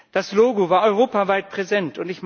Das Logo war europaweit präsent.